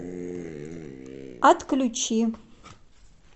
отключи